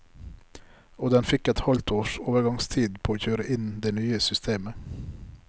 Og den fikk et halvt års overgangstid på å kjøre inn det nye systemet.